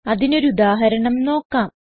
അതിനൊരു ഉദാഹരണം നോക്കാം